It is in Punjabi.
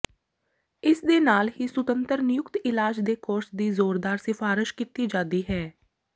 ਇਸ ਦੇ ਨਾਲ ਹੀ ਸੁਤੰਤਰ ਨਿਯੁਕਤ ਇਲਾਜ ਦੇ ਕੋਰਸ ਦੀ ਜ਼ੋਰਦਾਰ ਸਿਫਾਰਸ਼ ਕੀਤੀ ਜਾਦੀ ਹੈ